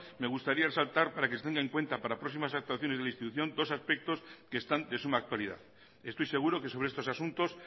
me gustaría resaltar para que se tenga en cuenta para próximas actuaciones de la institución dos aspectos que están de suma actualidad estoy seguro que sobre estos asuntos